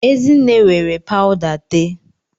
Ezinne were pawuda tee